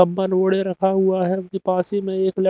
अब्बन उड़े रखा हुआ है उनके पास ही में एक ल--